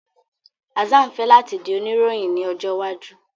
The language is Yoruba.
Hassan fẹ lati di onirohin ni ojo iwaju